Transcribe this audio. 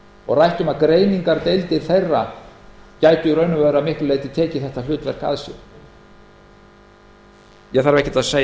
og rætt um að greiningardeildir þeirra gætu að miklu leyti tekið þetta hlutverk að sér ég þarf ekkert að segja